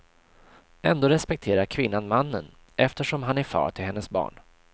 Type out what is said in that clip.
Ändå respekterar kvinnan mannen, eftersom han är far till hennes barn.